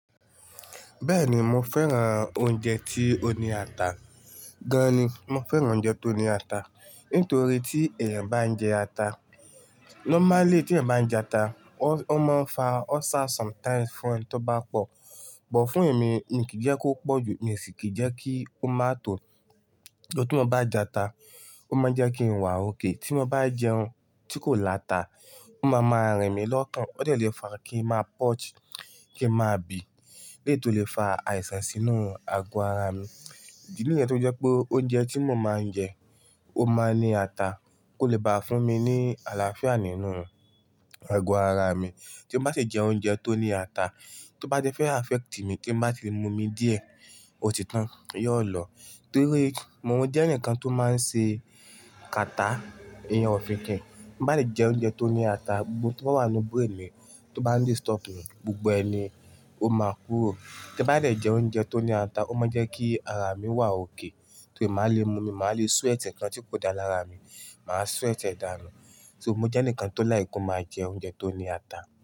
Bẹ́ẹ̀ni, mo fẹ́ran oúnjẹ tí ó ní ata gan ni. Mo fẹ́ran oúnjẹ tó ní ata nítorí tí ẹ̀yàn bá ń jẹ ata, normally tí ẹ̀yàn bá ń jẹ ata, ó máa ń fa ulcer sometimes fún ẹni tó bá pọ̀. But fún èmi, n kì í jẹ́ kó pọ̀ jù, mi sì kí jẹ́ kí ó má tó. Though, tí mo bá jẹ ata, ó máa ń jẹ́ kí n wà okay. Tí mo bá jẹun tí kò láta, ó máa máa rìn mí lọ́kàn. Ó dẹ̀ le fa kí ń má purge, kí ń má bì, lẹ́ẹ̀ yi tó le fa àìsàn sínú ago ara mi. Ìdí nìyẹn tí ó jẹ́ pé oúnjẹ tí mo ń máa ńjẹ, ó ń máa ń ní ata, kó lè bá fún mí ní àláfíà nínú ago ará mí. Tí n bá sì jẹ oúnjẹ tí ò ní áta, tí ó bá tí fẹ affeti mí, tí n bá tí mú omi díẹ̀, otitan, iyen olọ torí mo jẹ́ ẹnìkan tó máa ń ṣe kàtá, ìyen òfinkìn. Tí n bá lè jẹ oúnjẹ tó ní ata, gbogbo n tó bá wà nínú brain mi tó bá ń disturb mi, gbogbo ẹ ni ó máa kúrò. Tí bá lè jẹ oúnjẹ tó ní ata, ó máa ń jẹ́ kí ara mi wà okay. Torí màá le mú mi, màá le sweat ǹkan tí kò dáa lára mi, màá sweat ẹ̀ dànu. So, mo jẹ́ ẹnìkan tó like ko máa jẹ oúnjẹ tó ní ata.